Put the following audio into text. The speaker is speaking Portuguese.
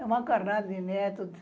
Era uma carrada de netos.